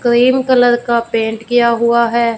Cream colour का paint किया हुआ है।